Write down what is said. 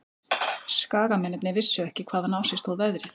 Skagamennirnir vissu ekki hvaðan á sig stóð veðrið.